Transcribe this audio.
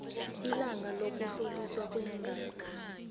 ilanga lokuhloliswa kweengazi